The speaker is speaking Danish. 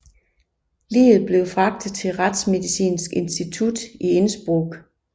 Liget blev fragtet til retsmedicinsk institut i Innsbruck